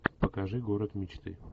покажи город мечты